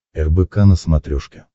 рбк на смотрешке